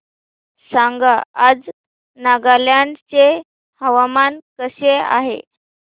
सांगा आज नागालँड चे हवामान कसे आहे